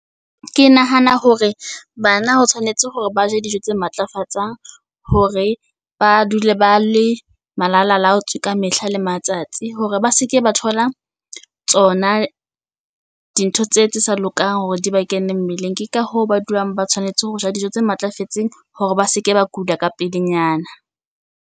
Ke nahana hore bana ho tshwanetse hore ba je dijo tse matlafatsang hore ba dule ba le malala laotswe ka mehla le matsatsi. Hore ba se ke ba thola tsona di ntho tse tse sa lokang hore di ba kene mmeleng. Ke ka hoo, ba dulang ba tshwanetse ho ja dijo tse matlafetseng hore ba seke ba kula ka pelenyana.